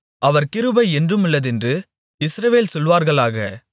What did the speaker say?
அவர் கிருபை என்றுமுள்ளதென்று இஸ்ரவேல் சொல்வார்களாக